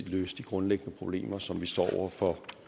løse de grundlæggende problemer som vi står over for